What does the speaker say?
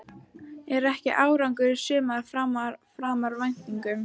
Er ekki árangurinn í sumar framar væntingum?